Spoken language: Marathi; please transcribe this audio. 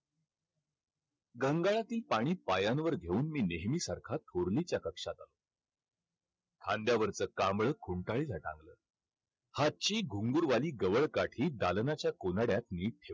घंगाळातील पाणी पायांवर घेऊन मी नेहमीसारखा थोरलीच्या कक्षात आलो. खांद्यावरचं खुंटाळीला टांगलं. हातची घुंगरुवाली गवळकाठी दालनाच्या कोनाड्यात नीट ठेवली.